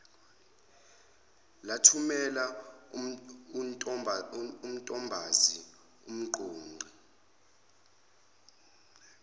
lathumela untombazi umqoqi